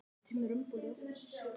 Þá er mest gaman.